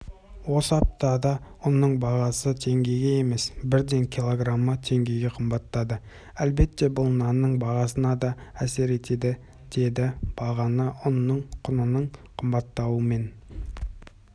осы аптада ұнның бағасы теңгеге емес бірден килограмы теңгеге қымбаттады әлбетте бұл нанның бағасына да әсер етті деді бағаныұнның құнының қымбаттауымен